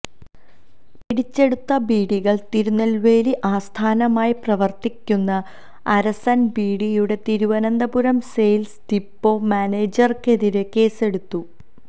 പിടിച്ചെടുത്ത ബീഡികള് തിരുനെല്വേലി ആസ്ഥാനമായി പ്രവര്ത്തിക്കുന്ന അരസന് ബീഡിയുടെ തിരുവനന്തപുരം സെയില്സ് ഡിപ്പോ മാനേജര്ക്കെതിരെ കേസെടുത്തു